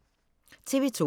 TV 2